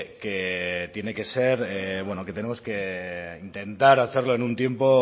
que que tiene que ser bueno que tenemos que intentar hacerlo en un tiempo